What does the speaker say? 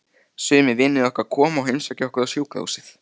Sumir vinir okkar koma og heimsækja okkur á sjúkrahúsið.